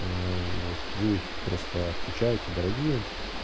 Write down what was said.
ээ вот вы просто отвечаете дорогие